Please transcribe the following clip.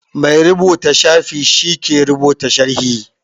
Mai rubuta shafi shi ke rubuta sharhi